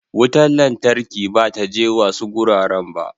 Wutar lantarki ba ta je wasu garuruwan ba.